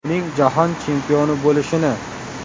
Uning Jahon chempioni bo‘lishini!